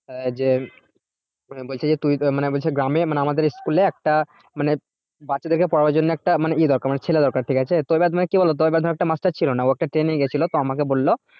আহ যে বলছে যে তুই মানে বলছে গ্রামে মানে আমাদের school এ একটা মানে বাচ্চাদের পড়াবার জন্য একটা মানে ইয়ে দরকার মানে ছেলে দরকার ঠিক আছে তো এবার মনে কি বলতো এবার ধরো একটা master ছিল না ও একটা training এ গিয়েছিল তো আমাকে বললো